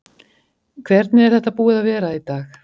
Hvernig er þetta búið að vera í dag?